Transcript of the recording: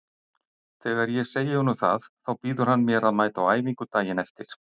Þegar ég segi honum það þá býður hann mér að mæta á æfingu daginn eftir.